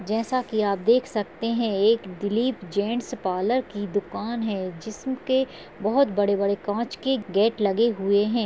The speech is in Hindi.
जैसा की आप देख सकते हैं एक दिलीप जेन्ट्स पार्लर की दुकान है जिस्म के बहोत बड़े बड़े कांच के गेट लगे हुए हैं।